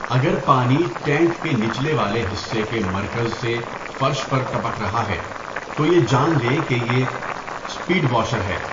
اگر پانی ٹینک کے نچلے والے حصے کے مرکز سے فرش پر ٹپک رہا ہے تو یہ جان لیں کہ یہ اسپڈ واشر ہے۔